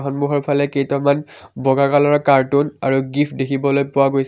সন্মুখৰফালে কেইটামান বগা কলাৰৰ কাৰ্টুন আৰু গীফ্ট দেখিবলৈ পোৱা গৈছে।